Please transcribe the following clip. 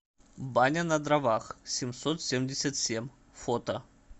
баня на дровах семьсот семьдесят семь фото